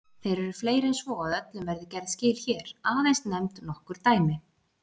Þeir eru fleiri en svo að öllum verði gerð skil hér, aðeins nefnd nokkur dæmi.